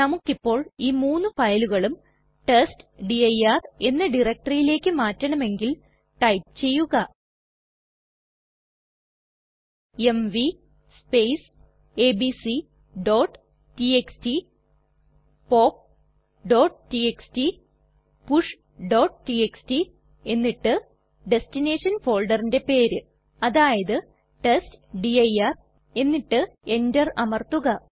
നമുക്കിപ്പോൾ ഈ മൂന്നു ഫയലുകളും ടെസ്റ്റ്ഡിർ എന്ന ഡയറക്ടറിലേക്ക് മാറ്റണമെങ്കിൽ ടൈപ്പ് ചെയ്യുക എംവി abcടിഎക്സ്ടി popടിഎക്സ്ടി pushടിഎക്സ്ടി എന്നിട്ട് ദെസ്റ്റിനെഷൻ ഫോൾഡറിന്റെ പേര് അതായത് ടെസ്റ്റ്ഡിർ എന്നിട്ട് എന്റർ അമർത്തുക